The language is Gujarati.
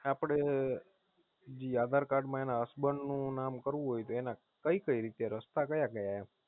આપડે જી આધારકાર્ડ માં એના Husband નું નામ કરવું હોય તો એના કઈ રીતે રસ્તા કયાં કયાં એમ?